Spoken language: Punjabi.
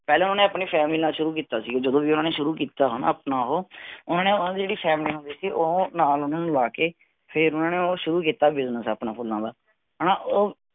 ਪਹਿਲਾਂ ਉਨ੍ਹਾਂਨੇ ਆਪਣੀ family ਨਾਲ ਸ਼ੁਰੂ ਕੀਤਾ ਸੀਗਾ। ਜਦੋ ਵੀ ਉਨ੍ਹਾਂਨੇ ਸ਼ੁਰੂ ਕੀਤਾ ਆਪਣਾ ਆਹ ਉਨ੍ਹਾਂਨੇ ਓਹਨਾ ਦੀ ਜਿਹੜੀ family ਹੁੰਦੀ ਸੀ ਉਹ ਨਾਲ ਉਹਨਾਂ ਨੂੰ ਲਵਾਕੇ ਫੇਰ ਉਹਨਾਂ ਨੇ ਉਹ ਸ਼ੁਰੂ ਕੀਤਾ ਉਹ business ਆਪਣਾ ਫੁਲਾਂ ਦਾ ਹਣਾ ਓ